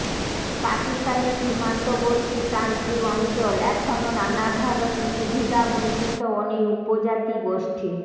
পাকিস্তানের সীমান্তবর্তী প্রান্তিক অঞ্চল এখনো নানাধরণের সুবিধাবঞ্চিত অনেক উপজাতি গোষ্ঠী